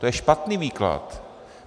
To je špatný výklad.